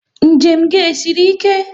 Njem gị e siri ike?